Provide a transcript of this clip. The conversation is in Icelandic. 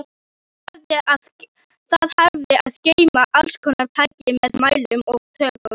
Það hafði að geyma allskonar tæki með mælum og tökkum.